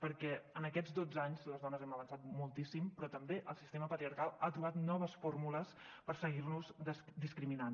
perquè en aquests dotze anys les dones hem avançat moltíssim però també el sistema patriarcal ha trobat noves fórmules per seguir nos discriminant